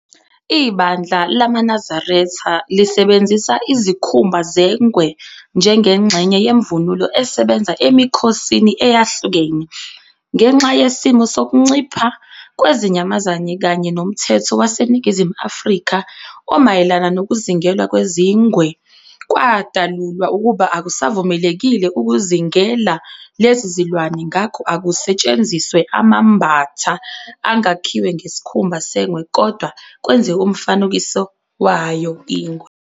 Ibandla lamaNazaretha lisebenzisa izikhumba zengwe njengengxenye yemvunulo esebenza emikhosini eyahlukene, ngenxa yesimo sokuncipha kwezinyamazane kanye nomthetho waseNingizimu Afrika omayelana nokuzingelwa kwezingwe kwadalulwa ukuba akusavumelekile ukuzingela lezi zilwane ngakho akusetshenziswe amambatha angakhiwe ngesikhumba sengwe kodwa kwenziwe umfanekiso wayo ingwe.